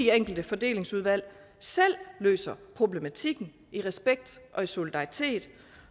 enkelte fordelingsudvalg selv løser problematikken i respekt og i solidaritet